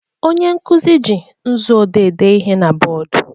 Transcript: Onye nkuzi ji nzu dee ihe na bọọdụ.